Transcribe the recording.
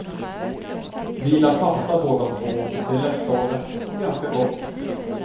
Vi gillar pasta båda två, det är lättlagat och ganska gott.